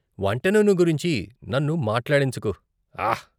వంట నూనె గురించి నన్ను మాట్లాడించకు, ఆహ్ .